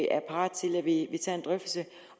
er parat til at vi tager en drøftelse